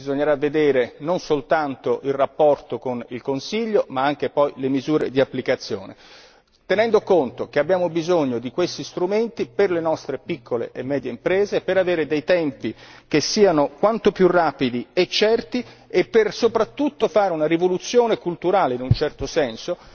Bisognerà vedere non soltanto il rapporto con il Consiglio, ma anche poi le misure di applicazione, tenendo conto che abbiamo bisogno di questi strumenti per le nostre piccole e medie imprese, per avere dei tempi che siano quanto più rapidi e certi e per soprattutto fare una rivoluzione culturale, in un certo senso,